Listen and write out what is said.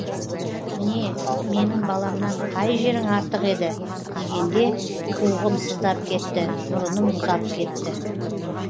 не менің баламнан қай жерің артық еді дегенде қуығым сыздап кетті мұрыным мұзап кетті